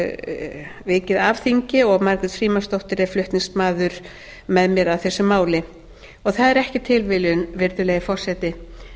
vikið af þingi og margrét frímannsdóttir er flutningsmaður með mér að þessu máli það er ekki tilviljun virðulegi forseti